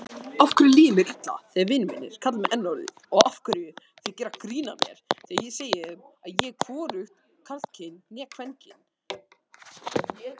Þið hafið óskað eftir.